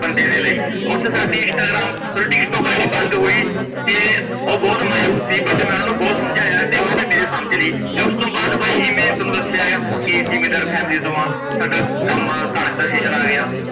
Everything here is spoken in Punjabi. ਓਥੋਂ ਸਾਡੀ ਇੰਸਟਾਗ੍ਰਾਮ ਖੋਰੇ ਕਿਸ ਤੋਂ id ਬੰਦ ਹੋਈ ਤੇ ਓਹ ਬਹੁਤ ਮਾਊਸ ਸੀ but ਮੈ ਓਨਾ ਨੂੰ ਬਹੁਤ ਸਮਝਾਇਆ ਤੇ ਓਹਨਾਂ ਨੇ, ਮੇਰੀ ਸਮਝ ਲੀ ਤੇ ਉਸਤੋਂ ਬਾਦ ਬਾਈ ਜਿਵੇਂ ਮੈ ਤੁਹਾਨੂੰ ਦੱਸਿਆ ਕੀ ਜ਼ਿਮੀਂਦਾਰ family ਤੋਂ ਆ ਸਾਡਾ ਕੰਮ ਕਣਕ ਦਾ season ਆ ਗਿਆ।